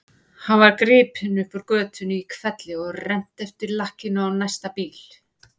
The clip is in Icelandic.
Hann var gripinn upp úr götunni í hvelli og rennt eftir lakkinu á næsta bíl.